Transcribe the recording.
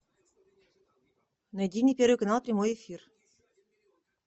найди мне первый канал прямой эфир